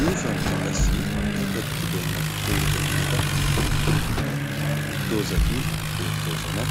yuushshuwankka qassi tooketibeena puutetti beettoosona.